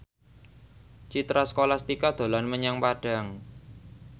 Citra Scholastika dolan menyang Padang